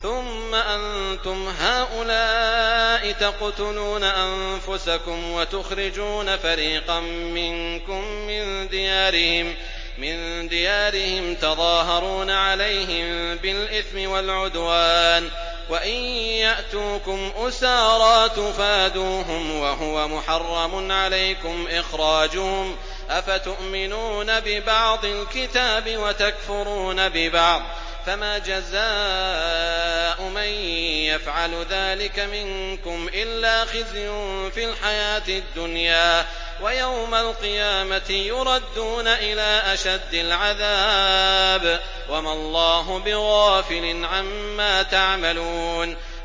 ثُمَّ أَنتُمْ هَٰؤُلَاءِ تَقْتُلُونَ أَنفُسَكُمْ وَتُخْرِجُونَ فَرِيقًا مِّنكُم مِّن دِيَارِهِمْ تَظَاهَرُونَ عَلَيْهِم بِالْإِثْمِ وَالْعُدْوَانِ وَإِن يَأْتُوكُمْ أُسَارَىٰ تُفَادُوهُمْ وَهُوَ مُحَرَّمٌ عَلَيْكُمْ إِخْرَاجُهُمْ ۚ أَفَتُؤْمِنُونَ بِبَعْضِ الْكِتَابِ وَتَكْفُرُونَ بِبَعْضٍ ۚ فَمَا جَزَاءُ مَن يَفْعَلُ ذَٰلِكَ مِنكُمْ إِلَّا خِزْيٌ فِي الْحَيَاةِ الدُّنْيَا ۖ وَيَوْمَ الْقِيَامَةِ يُرَدُّونَ إِلَىٰ أَشَدِّ الْعَذَابِ ۗ وَمَا اللَّهُ بِغَافِلٍ عَمَّا تَعْمَلُونَ